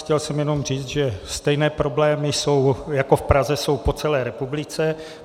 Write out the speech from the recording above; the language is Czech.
Chtěl jsem jenom říci, že stejné problémy jako v Praze jsou po celé republice.